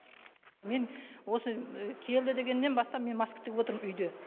мен осы келді дегеннен бастап мен маскы тігіп отырмын үйде